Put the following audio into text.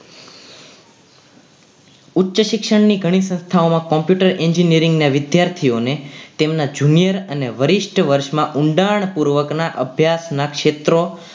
ઉચ્ચ શિક્ષણની ઘણી સંસ્થાઓમાં computer engineering ના વિદ્યાર્થીઓને તેમના junior અને વરિષ્ઠ વર્ષમાં ઊંડાણ પૂર્વકના અભ્યાસ ના ક્ષેત્રો